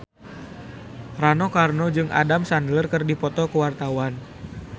Rano Karno jeung Adam Sandler keur dipoto ku wartawan